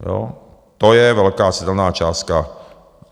Jo, to je velká citelná částka.